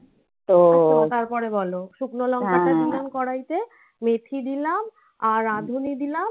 তো তারপরে বলো শুকনো লঙ্কা তা দিলাম কড়াইতে মেথি দিলাম. আর রাঁধুনি দিলাম.